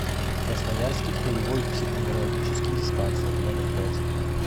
красноярский краевой психоневрологический диспансер номер пять